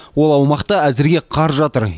ол аумақта әзірге қар жатыр